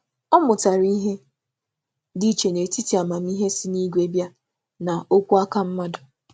Ọ mụtara isi kwàpụ amámịhe sitere n’aka Chukwu na echiche nke mmadụ.